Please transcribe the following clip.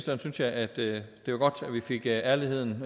jeg synes at det var godt vi fik ærligheden